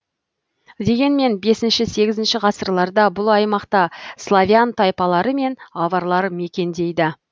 дегенмен бесінші сегізінші ғасырларда бұл аймақта славян тайпалары мен аварлар мекендейді